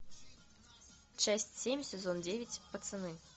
часть семь сезон девять пацаны